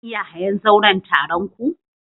Zan iya hayan zauren taron ku?